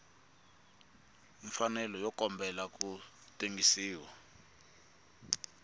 mfanelo yo kombela ku tengisiwa